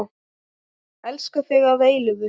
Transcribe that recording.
Elska þig að eilífu.